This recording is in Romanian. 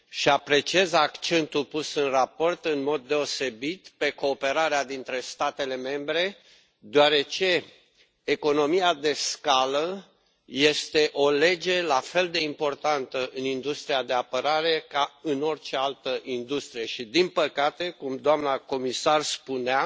Apreciez accentul pus în raport în mod deosebit pe cooperarea dintre statele membre, deoarece economia de scală este o lege la fel de importantă în industria de apărare ca în orice altă industrie și, din păcate, cum doamna comisar spunea,